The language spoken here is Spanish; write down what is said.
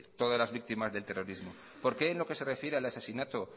todas las víctimas del terrorismo por qué en lo que se refiere al asesinato